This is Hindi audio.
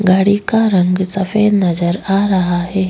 गाड़ी का रंग सफ़ेद नजर आ रहा है।